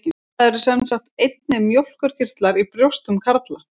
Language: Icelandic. Það eru sem sagt einnig mjólkurkirtlar í brjóstum karla.